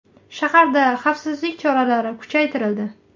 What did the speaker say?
Shaharda xavfsizlik choralari kuchaytirildi.